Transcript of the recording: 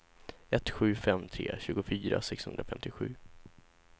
ett sju fem tre tjugofyra sexhundrafemtiosju